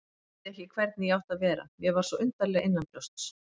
Vissi ekki hvernig ég átti að vera, mér var svo undarlega innanbrjósts.